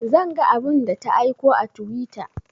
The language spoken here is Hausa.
Zan ga abun da ta aiko a twitter